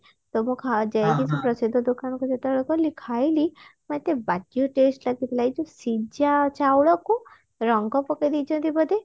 ତ ମୁଁ ଯାଇକି ମୁଁ ସେ ପ୍ରସିଦ୍ଧ ଦୋକାନକୁ ଯେତେବେଳେ ଗଲି ଖାଇଲି ଏତେ ବାଜ୍ୟେ ଲାଗିଥିଲା ଏଇଯୋଉ ସିଜା ଚାଉଳକୁ ରଙ୍ଗ ପକେଇ ଦେଇଛନ୍ତି ବୋଧେ